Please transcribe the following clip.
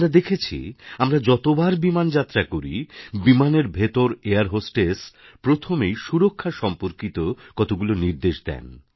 আমরা দেখেছি আমরা যতবার বিমানযাত্রা করি বিমানের ভেতর এয়ার হোস্টেস প্রথমেই সুরক্ষা সম্পর্কিত কতগুলি নির্দেশ দেন